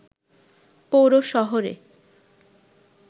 পৌর শহরে